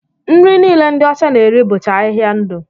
Nri niile ndi ọcha na-eri bụcha ahịhịa ndụ